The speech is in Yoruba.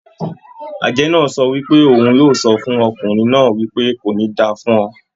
Àjẹ́ náà sọ wípé òun o sọ fún ọkùnrin náà wípé "Kò ní da fún ọ"